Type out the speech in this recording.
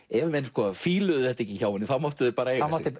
ef menn þetta ekki hjá henni máttu þeir eiga sig